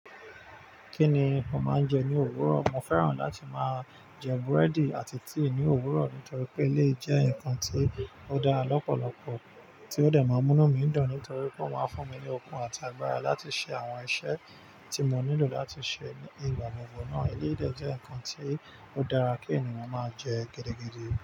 Kí ni mo máa ń jẹ ní òwúrọ̀? Mo fẹ́ràn láti máa jẹ búrẹ́dì àti tíì ní òwúrọ̀ nítorí pé eleyii jẹ́ nǹkan tí ó dára lọ́pọ̀lọpọ̀ tí ó dẹ̀ má ń múnú mi dun nítorí pé ó má ń fún mi ní okun àti agbára láti ṣe àwọn iṣẹ́ tí mo nílò láti ṣe ní ìgbà gbogbo náà. Ilé jẹ́ nǹkan tí ó dára kí ènìyàn máa jẹ gẹ́dẹ́gẹ́dẹ́